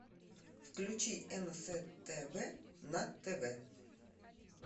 включи нств на тв